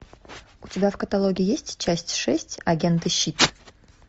у тебя в каталоге есть часть шесть агенты щит